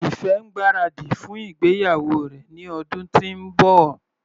Ife ń gbáradì fún ìgbéyàwó rẹ̀ ní ọdún tí ń bọ̀.